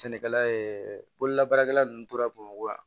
Sɛnɛkɛla ye bololabaarakɛla ninnu tora bamakɔ wa